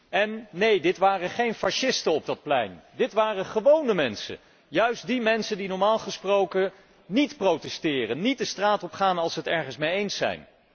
En, neen, dit waren geen fascisten op dat plein, dit waren gewóne mensen, juist die mensen die normaal gesproken niet protesteren, niet de straat opgaan, als zij het ergens niet mee eens zijn.